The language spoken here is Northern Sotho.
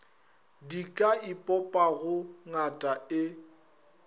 di ka ipopago ngata e